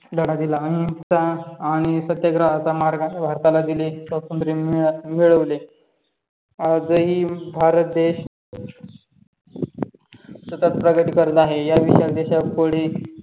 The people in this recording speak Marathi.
लढा दिला अहिंसा आणि सत्याग्रहाचा मार्गाचा भारताला दिले. मिळवले आजही भारत देश स्वतःच प्रगती करत आहे या विशाल देशापुढे